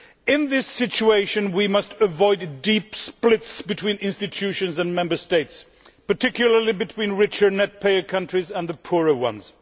In this situation we must avoid deep splits between institutions and Member States, particularly between richer net payer countries and the poorer ones.